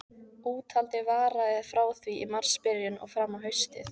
Úthaldið varaði frá því í marsbyrjun og fram á haustið.